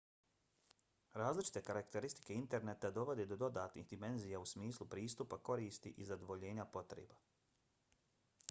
različite karakteristike interneta dovode do dodatnih dimenzija u smislu pristupa koristi i zadovoljenja potreba